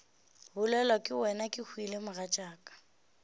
bolelwa ke wena kehwile mogatšaka